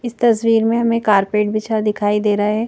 इस तस्वीर में हमें कारपेट बिछा दिखाई दे रहा है।